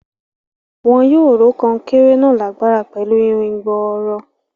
Wọn yóò ró kan-un-kéré náà lágbára pẹ̀lú irin gbọọrọ.